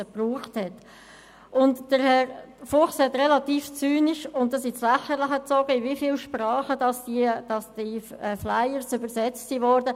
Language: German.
Herr Fuchs hat relativ zynisch und ins Lächerliche gezogen erwähnt, in wie vielen Sprachen die Flyer übersetzt wurden.